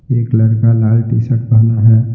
एक लड़का लाल टी_शर्ट पहना है।